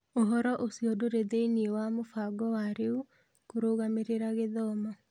Ũhoro ũcio ndũrĩ thĩinĩ wa mũbango wa rĩu kũrũgamĩrĩra gĩthomo.